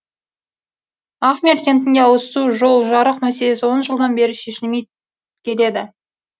ахмер кентінде ауызсу жол жарық мәселесі он жылдан бері шешілмей келеді